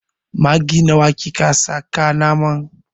Maggi nawa kika saka a naman?